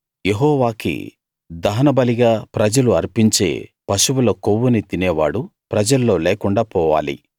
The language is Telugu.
యెహోవాకి దహనబలిగా ప్రజలు అర్పించే పశువుల కొవ్వుని తినేవాడు ప్రజల్లో లేకుండా పోవాలి